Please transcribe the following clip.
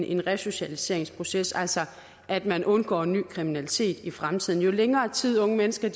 en resocialiseringsproces altså at man undgår ny kriminalitet i fremtiden jo længere tid unge mennesker